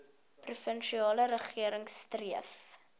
provinsiale regering streef